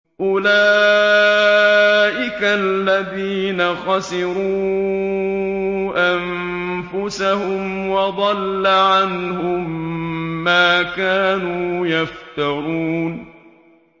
أُولَٰئِكَ الَّذِينَ خَسِرُوا أَنفُسَهُمْ وَضَلَّ عَنْهُم مَّا كَانُوا يَفْتَرُونَ